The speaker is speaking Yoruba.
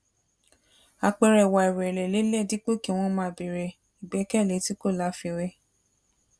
àpẹẹrẹ ìwà ìrẹ̀lẹ̀ lelèìí dípò kí wọ́n máa béèrè ìgbẹ́kẹ̀lé tí kò láfiwé